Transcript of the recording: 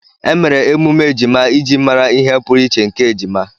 Emere emume ejima iji mara ihe pụrụiche nke ejima.